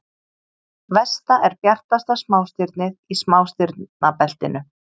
Vesta er bjartasta smástirnið í smástirnabeltinu.